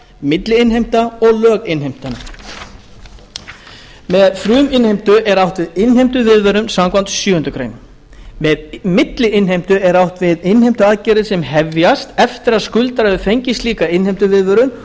fruminnheimta milliinnheimta og löginnheimta með fruminnheimtu er átt við innheimtuviðvörun samkvæmt sjöundu greinar með milliinnheimtu er átt við innheimtuaðgerðir sem hefjast eftir að skuldari hefur fengið slíka innheimtuviðvörun